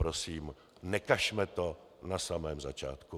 Prosím, nekažme to na samém začátku.